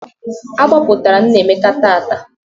A gbapụtara Nnaemeka taata